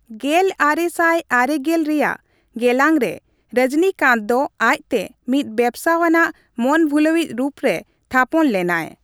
ᱜᱮᱞ ᱟᱨᱮ ᱥᱟᱭ ᱟᱨᱮ ᱜᱮᱞ ᱨᱮᱭᱟᱜ ᱜᱮᱞᱟᱝ ᱨᱮ, ᱨᱚᱡᱽᱱᱤᱠᱟᱱᱛ ᱫᱚ ᱟᱡᱛᱮ ᱢᱤᱫ ᱵᱮᱵᱽᱥᱟ ᱟᱱᱟᱜ ᱢᱚᱱᱵᱷᱩᱞᱟᱹᱣᱤᱡ ᱨᱩᱯ ᱨᱮ ᱛᱷᱟᱯᱚᱱ ᱞᱮᱱᱟᱭ ᱾